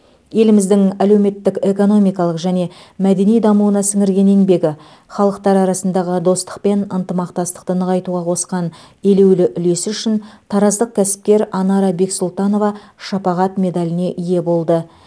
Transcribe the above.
еліміздің әлеуметтік экономикалық және мәдени дамуына сіңірген еңбегі халықтар арасындағы достық пен ынтымақтастықты нығайтуға қосқан елеулі үлесі үшін тараздық кәсіпкер анара бексұлтанова шапағат медаліне ие болды